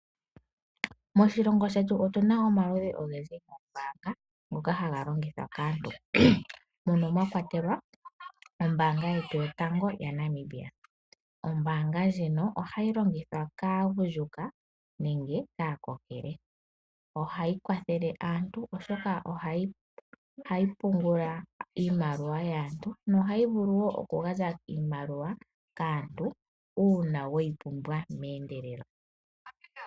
Moshilongo shetu otu na omaludhi ogendji goombanga ngoka haga longithwa kaantu, mono mwa kwatelwa ombaanga yetu yotango yaNamibia. Ombaanga ndjino ohayi longithwa kaagundjuka nengw kaakokele. Ohayi kwathele aantu oshoka ohayi pungula iimaliwa yaantu, nohayi vulu wo okugandja iimaliwa kaantu uuna weyi pumbwa meendelelo.